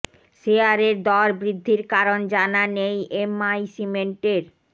শেয়ারের দর বৃদ্ধির কারণ জানা নেই এম আই সিমেন্টের